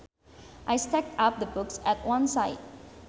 I stacked up the books at one side